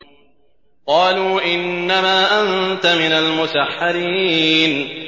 قَالُوا إِنَّمَا أَنتَ مِنَ الْمُسَحَّرِينَ